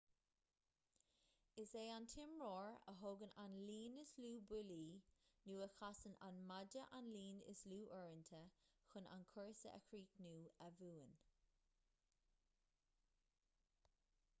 is é an t-imreoir a thógann an líon is lú buillí nó a chasann an maide an líon is lú uaireanta chun an cúrsa a chríochnú a bhuann